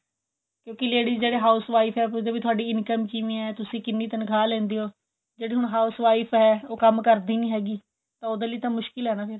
ਕਿਉਂਕਿ ladies ਜਿਹੜੀ housewife ਐ ਉਹ ਪੁੱਛਦੇ ਨੇ ਵੀ ਤੁਹਾਡੀ income ਕਿਵੇਂ ਹੈ ਤੁਸੀਂ ਕਿੰਨੀ ਤਨਖਾਹ ਲੇਂਦੇ ਹੋ ਜਿਹੜੀ ਹੁਣ house wife ਹੈ ਉਹ ਕੰਮ ਕਰਦੀ ਨਹੀਂ ਹੈਗੀ ਤਾਂ ਉਹਦੇ ਲਈ ਤਾਂ ਮੁਸ਼ਕਿਲ ਹੈ ਨਾ ਫੇਰ